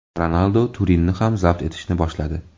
Ronaldu Turinni ham zabt etishni boshladi.